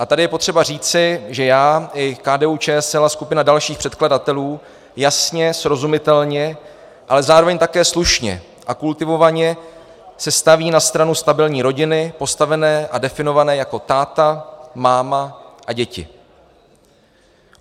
A tady je potřeba říci, že já i KDU-ČSL a skupina dalších předkladatelů jasně, srozumitelně, ale zároveň také slušně a kultivovaně se staví na stranu stabilní rodiny postavené a definované jako táta, máma a děti.